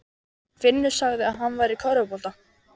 Finnur sagði að hann væri í körfubolta.